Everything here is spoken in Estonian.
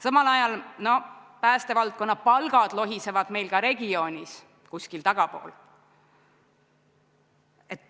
Samal ajal päästevaldkonna palgad lohisevad meil ka regioonis kuskil tagapool.